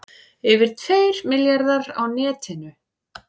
Yfir tveir milljarðar á netinu